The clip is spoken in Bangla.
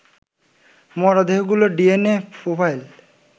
মরদেহগুলোর ডিএনএ প্রোফাইল